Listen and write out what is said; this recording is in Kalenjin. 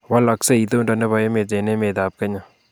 Walaksei itondo nebo emet eng emetab Kenya